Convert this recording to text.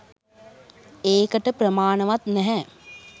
ඒකට ප්‍රමාණවත් නැහැ.